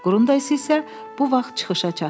Qrundays isə bu vaxt çıxışa çatdı.